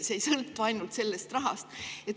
See kõik ei sõltu ainult rahast.